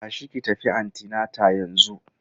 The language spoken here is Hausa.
Tashi ki tafi antinata yanzu!